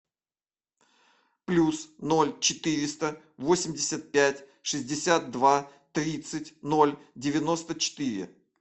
плюс ноль четыреста восемьдесят пять шестьдесят два тридцать ноль девяносто четыре